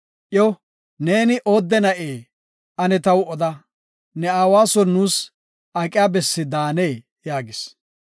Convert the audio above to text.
Iyo, “Neeni oodde na7ee? Ane taw oda; ne aawa son nuus aqiya bessi daanee?” yaagis.